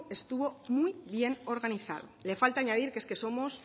estuvo muy bien organizado le falta añadir que es que somos